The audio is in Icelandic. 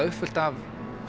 uppfullt af